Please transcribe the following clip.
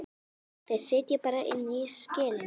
Þeir sitja bara inni í skelinni.